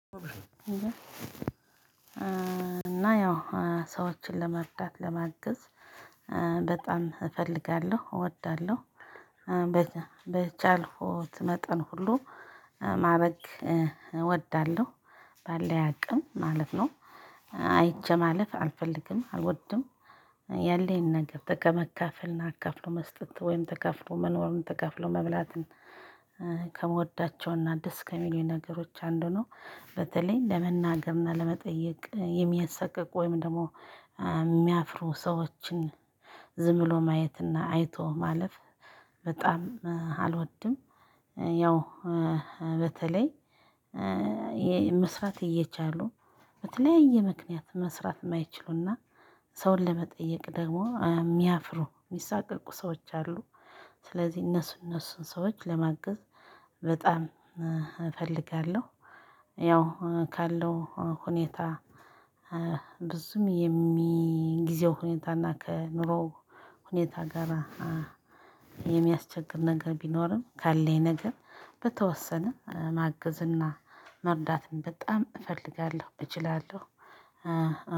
እና ያው ሰዎችን ለመርዳት ለማገዝ በጣም እፈልጋለው እወዳለው። በቻልኩት መጠን ሁሉ ማረግ እወዳለሁ ባለኝ አቅም ማለት ነው። አይቸ ማለፍ አልፈልግም፤ አልወድም። ያለኝን ነገር በመከፍልና አካፍሎ መስጠት ወይም ተካፍሎ መኖርም ተካፍሎ መብላትን ከምወዳቸውና ደስ ከሚለው ነገሮች አንዱ ነው። በተለይም ለመናገርና ለመጠየቅ የሚያሰቅቅ ወይም ደግሞ የሚያፍሩ ሰዎችን ዝም ብሎ ማየትና አይቶ ማለፍ በጣም አልወድም። ያው በተለይ መስራት እየቻሉ በተለያየ ምክንያት መስራት ማይችሉና ሰውን ለመጠየቅ ደግሞ ሚያፍሩ ሚሳቅልቁ ሰዎች አሉ። ስለዚህ እነሱ እነሱን ሰዎች ለማገዝ በጣም እፈልጋለው። ያው ካለው ሁኔታ ብዙም የጊዜው ሁኔታና ከኑሮው ሁኔታ ጋር። የሚያስቸግር ነገር ቢኖርም ካለኝ ነገር በተወሰነ ማገዝና መርዳትም በጣም እፈልጋለው እችላለው።